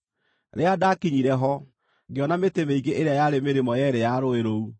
Rĩrĩa ndaakinyire ho, ngĩona mĩtĩ mĩingĩ ĩrĩa yarĩ mĩrĩmo yeerĩ ya rũũĩ rũu.